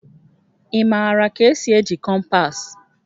Ị maara ka esi eji kompas?